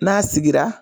N'a sigira